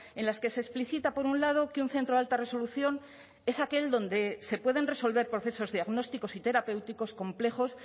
en las que se explicita por un lado que un centro de alta resolución es aquel donde se pueden resolver procesos diagnósticos y terapéuticos complejos